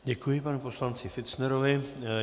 Děkuji panu poslanci Fichtnerovi.